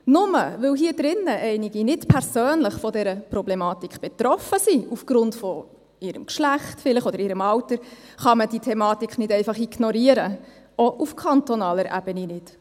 Nur weil hier einige nicht persönlich von dieser Problematik betroffen sind, aufgrund ihres Geschlechts vielleicht, oder aufgrund ihres Alters, kann man diese Thematik nicht einfach ignorieren, auch auf kantonaler Ebene nicht.